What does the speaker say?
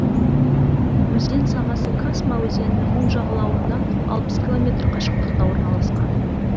өзен сағасы касьма өзенінің оң жағалауынан алпыс километр қашықтықта орналасқан